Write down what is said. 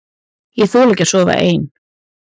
Ég þoli ekki að sofa ein.